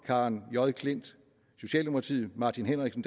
karen j klint martin martin henriksen